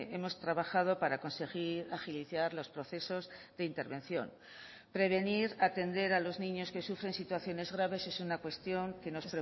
hemos trabajado para conseguir agilizar los procesos de intervención prevenir atender a los niños que sufren situaciones graves es una cuestión que nos